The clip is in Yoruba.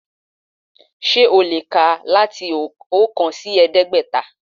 Sé o lè kà láti oókan sí ẹ̀ẹ́dẹ́gbẹ̀ta